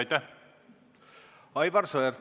Aivar Sõerd, palun!